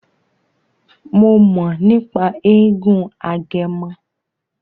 Mo mọ̀ nípa eégún Agẹmọ.